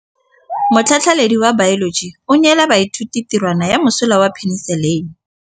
Motlhatlhaledi wa baeloji o neela baithuti tirwana ya mosola wa peniselene.